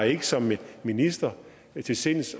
ikke som minister til sinds